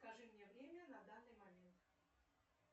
скажи мне время на данный момент